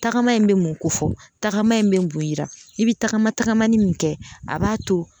Tagama in bɛ mun kofɔ tagama in bɛ mun yira i bɛ tagama tagamani min kɛ a b'a to